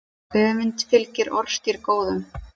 Öfund fylgir orðstír góðum.